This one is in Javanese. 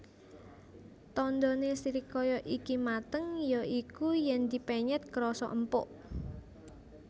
Tandhane srikaya iki mateng ya iku yen dipenyet krasa empuk